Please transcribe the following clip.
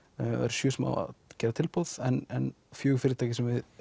sjö sem gera tilboð en fjögur fyrirtæki sem við